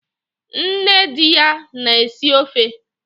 Nne di ya na-esi ofe